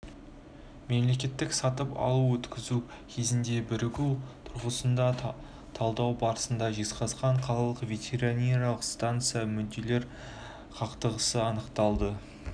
мемлекеттік сатып алуды өткізу кезінде бірігу тұрғысында талдау барысында жезқазған қалалық ветеринариялық станцияда мүдделер қақтығысы анықталды